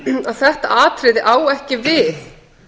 að þetta atriði á ekki við